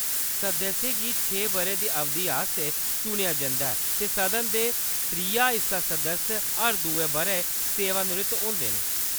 सदस्यें गी छें बʼरें दी अवधि आस्तै चुनेआ जंदा ऐ, ते सदन दे त्रिया हिस्सा सदस्य हर दुए बʼरै सेवानिवृत्त होंदे न।